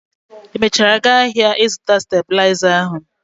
Ị mesiara gaa áhiá ịzụta stabịlaịza ahụ?